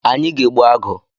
Anyị ga egbu agụ